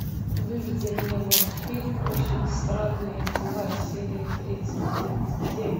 выведи мне мультфильм очень странные дела серия тридцать девять